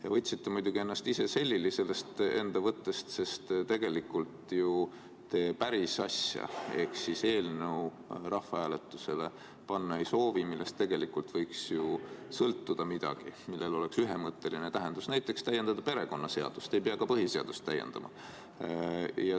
Te olite muidugi ise omast võttest selili, sest tegelikult te päris asja ehk eelnõu rahvahääletusele panna ei soovi, millest võiks ju sõltuda midagi, millel oleks ühemõtteline tähendus, näiteks võiks täiendada perekonnaseadust, ei peaks isegi põhiseadust täiendama.